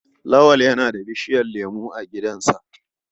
Lawal yana da bishiyar lemo a gidansa.